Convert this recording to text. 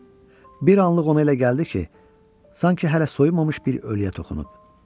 Bir anlıq ona elə gəldi ki, sanki hələ soyunmamış bir ölüyə toxunub.